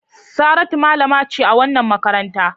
Saratu malama ce a wannan makaranta.